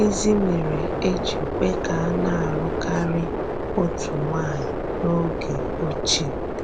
Gịnịzì mèrè e jì kwè ka a na-alụ kárí òtù nwànyì n’ógè òchíè?